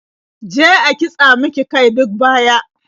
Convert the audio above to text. Je a kitsa mika kai duk baya.